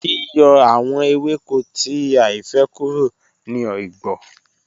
Yíyọ̀̀ àwọn èwẹ́kò tí àìfẹ́̀ kúrò ní ọigbọ̀